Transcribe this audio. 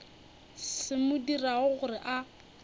se mo dirago gore a